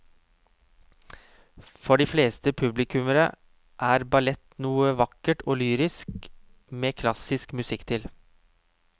For de fleste publikummere er ballett noe vakkert og lyrisk med klassisk musikk til.